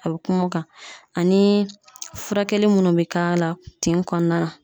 A bi kuma o kan ani furakɛli munnu bɛ k'a la tin kɔnɔna na.